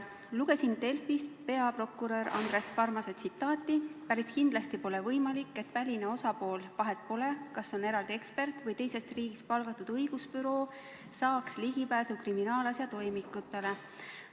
Lugesin Delfist peaprokurör Andres Parmase tsitaati: "Päris kindlasti pole võimalik, et väline osapool – vahet pole, kas on eraldi ekspert või teisest riigist palgatud õigusbüroo – saaks ligipääsu kriminaalasja toimikutele.